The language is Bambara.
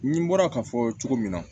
Ni n bɔra k'a fɔ cogo min na